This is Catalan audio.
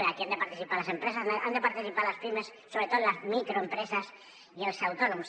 i aquí han de participar les empreses han de participar les pimes sobretot les microempreses i els autònoms